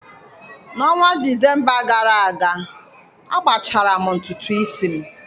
N'ọnwa Disemba gara aga, agbachara m ntutu isi m